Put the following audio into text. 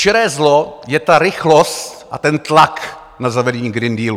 Čiré zlo je ta rychlost a ten tlak na zavedení Green Dealu.